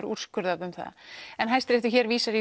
úrskurðað um það Hæstiréttur hér vísar